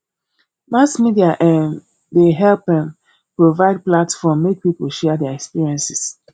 mass media um dey help um provide platform make people share their experiences